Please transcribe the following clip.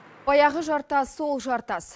баяғы жартас сол жартас